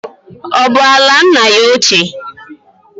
Ọ bụ ala nna ya ochie?